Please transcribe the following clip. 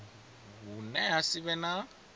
hune ha si vhe na